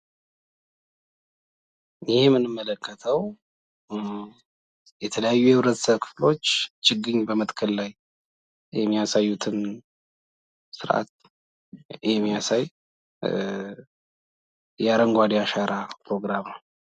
ይህ የምንመለከተው የተለያዩ የህብረተሰብ ክፍሎች ችግኝ በመትከል ላይ የሚያሳዩትን ስርዓት የሚያሳይ የአረንጓዴ አሻራ ምስል ነው።